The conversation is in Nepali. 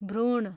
भ्रूण